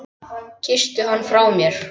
Kysstu hann frá mér.